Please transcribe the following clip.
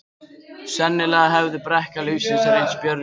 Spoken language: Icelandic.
Sennilega hafði brekka lífsins reynst Björgu of brött.